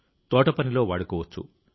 తోటపనిలో వాడుకోవచ్చు